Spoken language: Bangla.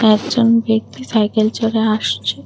একজন ব্যক্তি সাইকেল চড়ে আসছে।